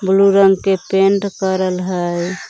Blue रंग के paint करल हइ।